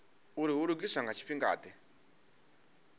uri hu lugiswa nga tshifhingade